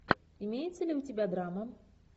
имеется ли у тебя драма